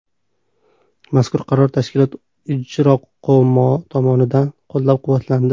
Mazkur qaror tashkilot Ijroqo‘mi tomonidan qo‘llab-quvvatlandi.